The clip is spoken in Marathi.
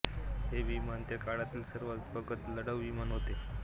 हे विमान त्या काळातील सर्वात प्रगत लढाऊ विमान होते